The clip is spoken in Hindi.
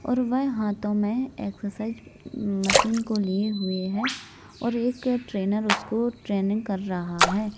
और वह हाथों में एक्सरसाइस म्म मशीन को लिए हुए है और एक ट्रेनर उसको ट्रेनिंग कर रहा है।